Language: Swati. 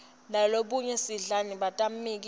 lolomunye sidlani batammikisa